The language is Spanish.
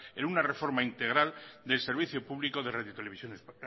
en una reforma integral del servicio público de radio televisión